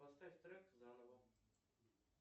поставь трек заново